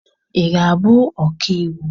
Ị ga-abụ ọka iwu!